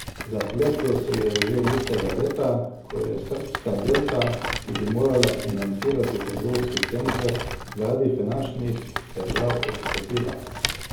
Zapletlo se je že istega leta, ko je srbska Delta, ki bi morala financirati trgovski center, zaradi finančnih težav odstopila.